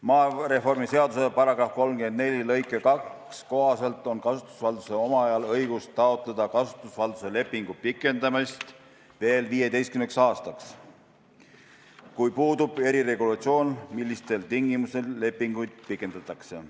Maareformi seaduse § 341 lõike 2 kohaselt on kasutusvalduse omajal õigus taotleda kasutusvalduse lepingu pikendamist veel 15 aastaks, kuid puudub eriregulatsioon, millistel tingimustel lepinguid pikendatakse.